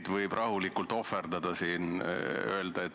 Kas Riigikogu liikmetel on soovi pidada läbirääkimisi?